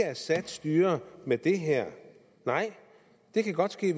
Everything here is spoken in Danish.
assads styre med det her nej det kan godt ske